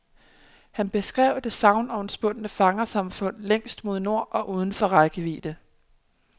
Han beskrev det sagnomspundne fangersamfund længst mod nord og uden for rækkevidde.